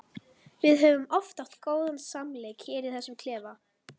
Við höfum oft átt góðan samleik hér í þessum klefa.